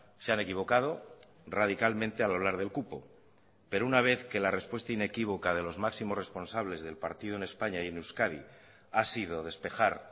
se han equivocado radicalmente al hablar del cupo pero una vez que la respuesta inequívoca de los máximos responsables del partido en españa y en euskadi ha sido despejar